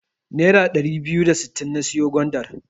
Nera ɗari biyu da sittin na siyo gwandar.